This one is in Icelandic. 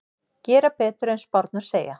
Gera betur en spárnar segja